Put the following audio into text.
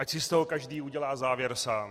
Ať si z toho každý udělá závěr sám.